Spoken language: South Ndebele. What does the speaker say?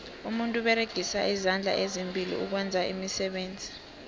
umuntu uberegisa izandla ezimbili ukwenza iimisebenzi